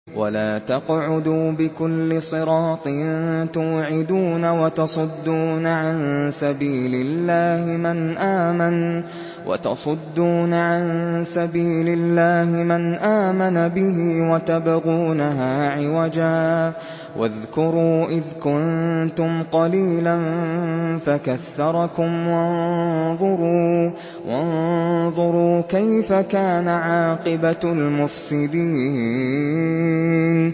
وَلَا تَقْعُدُوا بِكُلِّ صِرَاطٍ تُوعِدُونَ وَتَصُدُّونَ عَن سَبِيلِ اللَّهِ مَنْ آمَنَ بِهِ وَتَبْغُونَهَا عِوَجًا ۚ وَاذْكُرُوا إِذْ كُنتُمْ قَلِيلًا فَكَثَّرَكُمْ ۖ وَانظُرُوا كَيْفَ كَانَ عَاقِبَةُ الْمُفْسِدِينَ